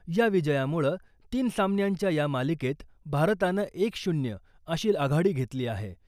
या विजयामुळं तीन सामन्यांच्या या मालिकेत भारतानं एक शून्य अशी आघाडी घेतली आहे .